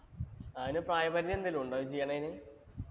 അതിന് പ്രായപരിധി എന്തേലും ഉണ്ടോ? ഇത് ചെയ്യണതിന്.